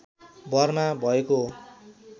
भरमा भएको हो